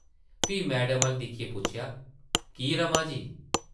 फ्ही मैडम अʼल्ल दिक्खियै पुच्छेआ ,‘‘ की, रमा जी ?’’